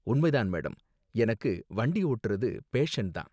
உண்மை தான், மேடம், எனக்கு வண்டி ஓட்டுறது பேஷன் தான்.